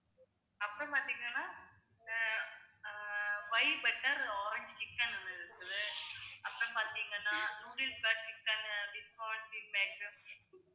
அப்புறம் பாத்தீங்கன்னா அஹ் அஹ் white butter orange chicken இருக்குது அப்புறம் பார்த்தீங்கன்னா noodles ல chicken